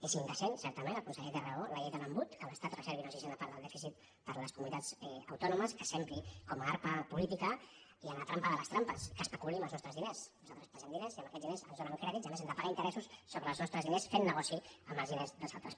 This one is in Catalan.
és indecent certament el conseller té raó la llei de l’embut que l’estat reservi una sisena part del dèficit per a les comunitats autòno·mes que s’empri amb a arma política i amb la trampa de les trampes que especuli amb els nostres diners nosaltres els passem diners i amb aquests diners ens donen crèdits i a més hem de pagar interessos sobre els nostres diners fent negoci amb els diners dels al·tres